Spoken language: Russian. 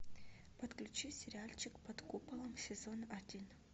подключи сериальчик под куполом сезон один